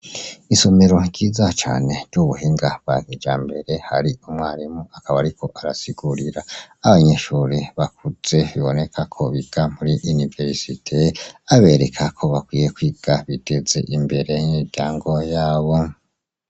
Isomero ryiza cane ry'ubuhinga bwa kijambere hari umwarimu akaba ariko arasigurira abanyeshuri bakuze biboneka ko biga muri univerisite, abereka ko bakwiye kwiga ibiteza imbere imiryango yabo.